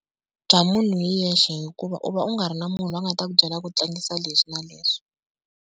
Bya munhu hi yexe hikuva u va u nga ri na munhu loyi a nga ta ku byela ku tlangisa leswi na leswi.